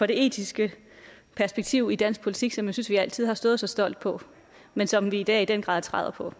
det etiske perspektiv i dansk politik som jeg synes vi altid har stået så stolt på men som vi i dag i den grad træder på